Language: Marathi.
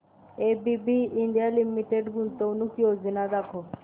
एबीबी इंडिया लिमिटेड गुंतवणूक योजना दाखव